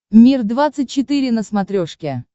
мир двадцать четыре на смотрешке